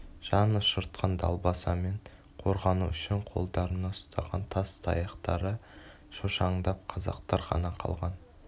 жанұшыртқан далбасамен қорғану үшін қолдарына ұстаған тас таяқтары шошаңдап қазақтар ғана қалған